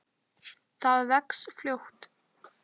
Það vex fljótt.